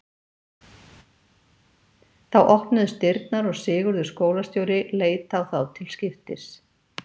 Þá opnuðust dyrnar og Sigurður skólastjóri leit á þá til skiptis.